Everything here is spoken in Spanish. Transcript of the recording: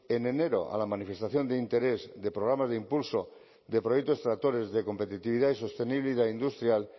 en enero a la manifestación de interés de programas de impulso de proyectos tractores de competitividad y sostenibilidad industrial